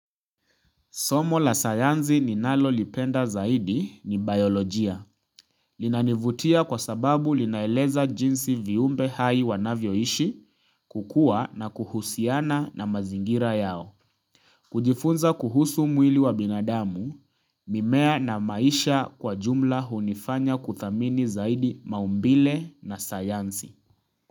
Somo la sayansi ninalo lipenda zaidi ni biolojia. Linanivutia kwa sababu linaeleza jinsi viumbe hai wanavyoishi kukua na kuhusiana na mazingira yao. Kujifunza kuhusu mwili wa binadamu, mimea na maisha kwa jumla hunifanya kuthamini zaidi maumbile na sayansi.